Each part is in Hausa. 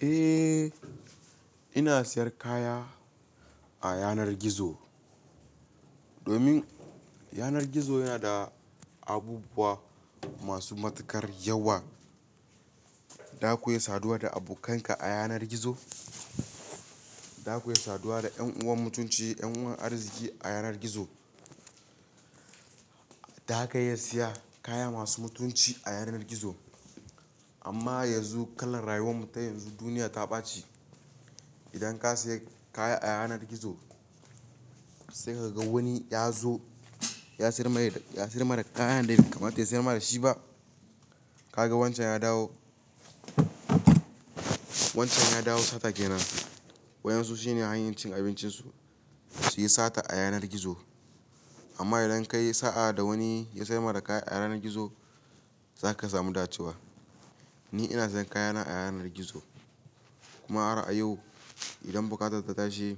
Eh, ina sayan kaya a yanar gizo domin yanar gizo yana da abubuwa masu matuƙar yawa. Za ku yi saduwa da abokanka a yanar gizo, za ku iya saduwa da ƴan uwan mutunci, ƴan uwan arziki a yanar gizo. Za ka iya siya kaya masu mutunci a yanar gizo. Amma yanzu kalar rayuwar mu ta yanzu duniya ta ɓace. Idan ka siya kaya a yanar gizo sai ka ga wani ya zo ya sayar ma da, ya sayar ma da kayan da bsi kamata ya sayar ma da shi ba. Ka ga wancan ya dawo, wancan ya dawo sata ke nan. Waƴansu shi ne hanyar cin abincin su, su yi sata a yanar gizo. Amma idan ka yi sa'a da wani ya sayar ma da kaya a yanar gizo, za ka samu dacewa. Ni ina sayan kaya na a yanar gizo, kuma har a yau idan buƙatar ta tashi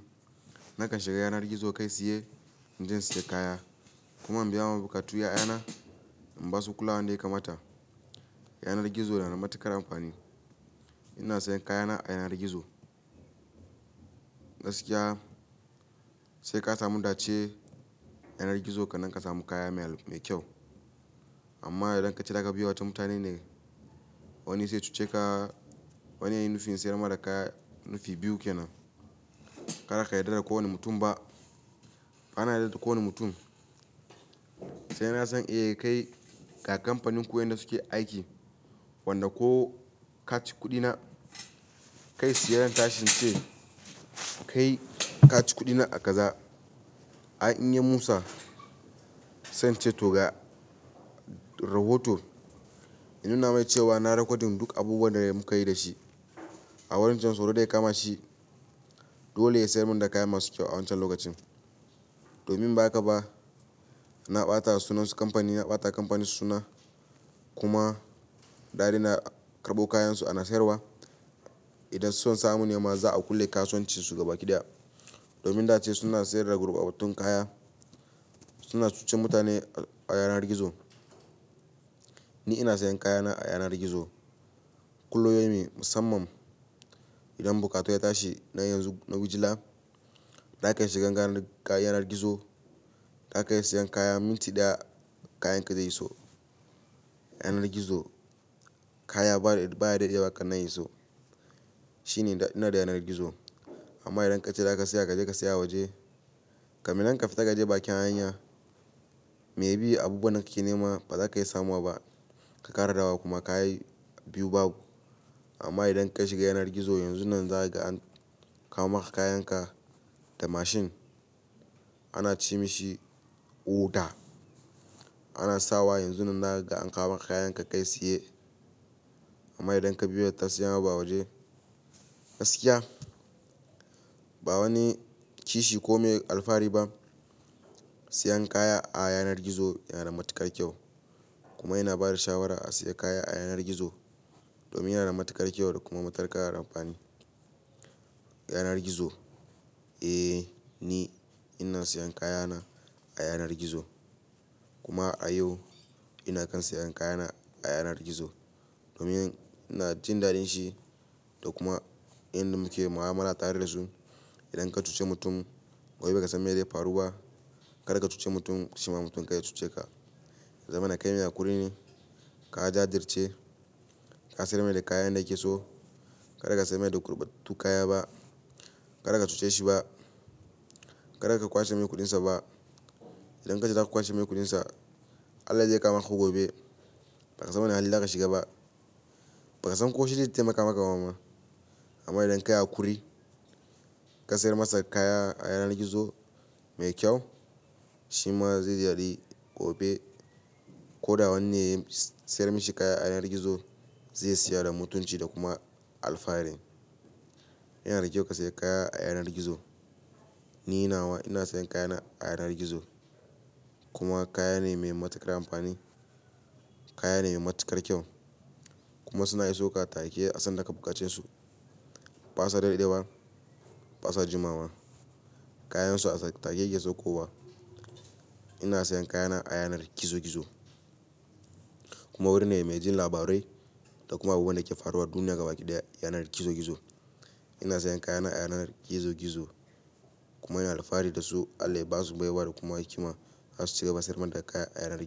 nakan shiga yanar gizo kai tsiye, inje insai kaya. Kuma in biya mun buƙatu a yayana, in ba su kula da ya kamata. Yanar gizo yana da matuƙar amfani. Ina sayan kaya na a yanar gizo. Gaskiya sai ka samu dace a yanar gizo kanan ka samu kaya mai kyau. Amma idan ka ce daga biye wata mutane ne wani zai cuce ka wani yayi nufin sayar ma da kaya nufi biyu ke nan. Kar ka yarda da kowane mutum ba. Ba na yarda da kowane mutum. Sai na san eh kai ga kamfanin ku waƴan da su ke aiki, wanda ko kaci kuɗi na kai siye zan tashin ince, kai kaci kuɗi na a kaza. Ai in yi Musa, sai ince to ga rahoton. In nuna mai cewa na rekodin duk abubuwan da mukayi da shi. A wurin can soro kama shi. Dole ya sayar mun da kaya masu kyau a wancan lokacin. Domin ba ka ba, na ɓata sunansu kamfani na ɓata kamfani suna kuma daɗina karɓo kayansu ana sayarwa. Idan so samu nema za a kulle kasuwanci su gabaƙi daya. Domin dace suna sayar da gurbatattun kaya. Suna cucen mutane a yanar gizo. Ni ina sayan kaya na a yanar gizo. Kullum yayi me musamman. Idan buƙatu ya tashi na yanzu, na wojila, za ka shiga ganga na yanar gizo, za ka iya sayan kaya minti ɗaya kayan ka zai iso. Yanar gizo kaya baya dadewa kan nan ya iso. Shi ne dadi na yanar gizo. Amma idan ka ce da ka siya ka je ka siya a waje, kamin nan ka fita ka je bakin hanya, me bi abubuwan da kake nema ba za ka iya samowa ba. Ka kara dawowa kuma kayi biyu babu. Amma idan ka shiga yanar gizo yanzunnan za ka ga an kawo maka kayan ka da mashin. Ana ci mishi oɗa. Ana sawa yanzunnan za ka ga an kawo maka kayan ka kai siye. Amma idan ka biya ta siyan abu a waje. Gaskiya ba wani kishi ko me alfahari ba. Siyan kaya a yanar gizo yana da matuƙar kyau. Kuma ina bada shawara a siya kaya a yanar gizo. Domin yana da matuƙar kyau da kuma matuƙar amfani. Yanar gizo, eh ni ina sayan kaya na a yanar gizo. Kuma a yau ina kan sayan kaya na a yanar gizo. Domin ina jin daɗin shi da kuma inda muke mu'amala tare da su. Idan ka cuce mutum gobe bakasan ka san me zai faru ba, kada ka cuci mutum shima mutum kai ya cuce ka. Zamana kai mai hakuri ne. Ka jajirce, ka sayar mai da kayan da ya ke so. Kada ka sayar mai da gurbattu kaya ba. Kada ka cuce shi ba. Kada ka kwashe mai kuɗin sa ba. Idan ka ce za ka kwashe mai kuɗin sa, Allah zai kama ka gobe. Ba ka san wani hali za ka shiga ba. Ba ka san ko shi zai taimaka maka bama amma idan ka yi hakuri, ka sayar masa kaya a yanar gizo mai kyau, shima zai ziyarci gobe. Ko da wanne ya sayar mashi kaya a yanar gizo zai siya da mutunci da kuma alfahari. Yana da kyau ka sayar kaya a yanar gizo. Ni nawa ina sayan kaya na a yanar gizo. Kuma kaya ne mai matuƙar amfani. Kaya ne mai matuƙar kyau. Kuma suna iso ka take a san da ka buƙace su. Ba sa dadewa, ba sa jimawa. Kayansu a take yake sakko wa. Ina sayan kaya na a yanar gizo gizo. Kuma wurin ne mai jin labarai da kuma abubuwan da ke faruwa duniya gabaƙi daya yanar gizo gizo. Ina sayan kaya na a yanar gizo gizo. Kuma ina alfahari da su. Allah ya ba su baiwa da kuma hikima. Har su ci gaba sayar min da kaya a yanar gizo.